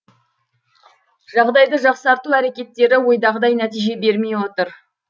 жағдайды жақсарту әрекеттері ойдағыдай нәтиже бермей отыр